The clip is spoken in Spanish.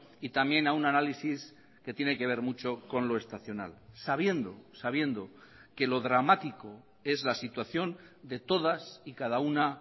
y también a un análisis que tiene que ver mucho con lo estacional sabiendo sabiendo que lo dramático es la situación de todas y cada una